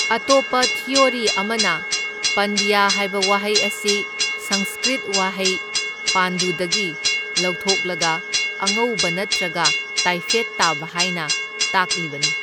ꯑꯇꯣꯞꯄ ꯊꯤꯑꯣꯔꯤ ꯑꯃꯅ ꯄꯥꯟꯗ꯭ꯌ ꯍꯥꯏꯕ ꯋꯥꯍꯩ ꯑꯁꯤ ꯁꯪꯁ꯭ꯀ꯭ꯔ꯭ꯤꯠ ꯋꯥꯍꯩ ꯄꯥꯟꯗꯨꯗꯒꯤ ꯂꯧꯊꯣꯛꯂꯒ ꯑꯉꯧꯕ ꯅꯠꯇ꯭ꯔꯒ ꯇꯥꯢꯐꯦꯠ ꯇꯥꯕ ꯍꯥꯏꯅ ꯇꯥꯛꯂꯤꯕꯅꯤ꯫